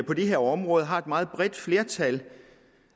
på det her område har et meget bredt flertal